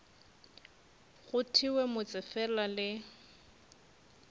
go thewe motse fela le